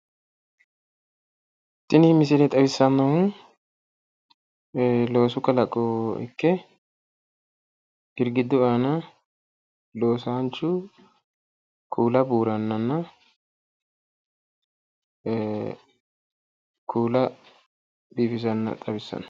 Tini misile xawissannohu loosu kalaqo ikke girgiddu aana loosaanchu kuula buurannanna kuula biifisanna xawissano